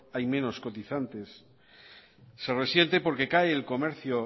hay menos cotizantes se resiente porque cae el comercio